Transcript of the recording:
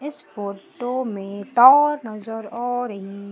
इस फोटो में टा नजर आ रही--